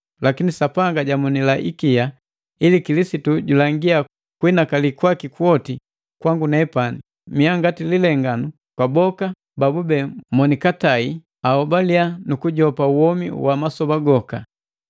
lakini Sapanga jamonila ikia, ili Kilisitu julangia kuhinakali kwaki kwoti kwangu nepani, ngati lilenganu kwa bala boka babube monikatai babahobaliya nukujopa womi wa masoba goka.